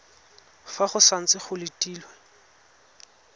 fa go santse go letilwe